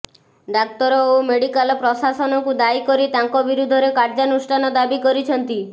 ଡାକ୍ତର ଓ ମେଡିକାଲ ପ୍ରଶାସନକୁ ଦାୟୀ କରି ତାଙ୍କ ବିରୁଦ୍ଧରେ କାର୍ଯ୍ୟାନୁଷ୍ଠାନ ଦାବି କରିଛନ୍ତି